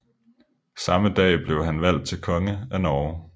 Samme dag blev han valgt til konge af Norge